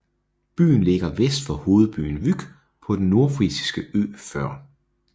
Byen ligger vest for hovedbyen Vyk på den nordfrisiske ø Før